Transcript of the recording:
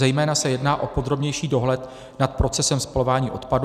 Zejména se jedná o podrobnější dohled nad procesem spalování odpadů.